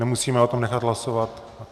Nemusíme o tom nechat hlasovat?